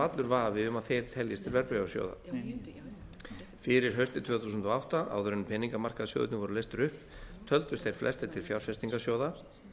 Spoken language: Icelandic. allur vafi um að þeir teljist til verðbréfasjóða fyrir haustið tvö þúsund og átta áður en peningamarkaðssjóðirnir voru leystir upp töldust þeir flestir til fjárfestingarsjóða